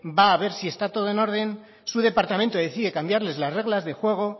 va a ver si esta todo en orden su departamento decide cambiarles las reglas de juego